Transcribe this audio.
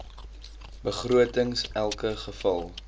begrotings elke geval